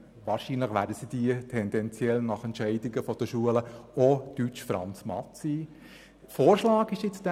Wahrscheinlich werden je nach Entscheidungen der Schulen diese Lektionen auch in den Fächern Deutsch, Französisch und Mathematik abgehalten.